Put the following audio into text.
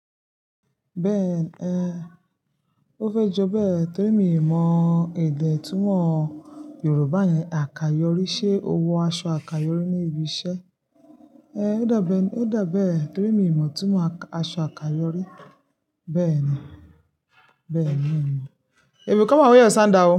Bẹ́ẹ̀ni ẹ, ó fẹ́ jọ bẹ́ẹ̀ torí mi ò mọ èdè túmọ̀ Yorùbá yẹn àkayòrí, ṣe ó wọ aṣọ àkayòrí ní ibi iṣẹ́? Ẹ, ó dà bá ẹ torí mi ò mọ̀ túmọ̀ aṣọ àkayòrí, bẹ́ẹ̀ ni, bẹ́ẹ̀ ni mi ò mọ̀. You will come and wear your sandal o.